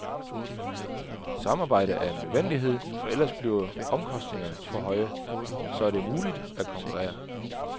Samarbejde er en nødvendighed, for ellers bliver omkostningerne for høje, og så er det umuligt at konkurrere.